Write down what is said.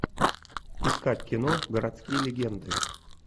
искать кино городские легенды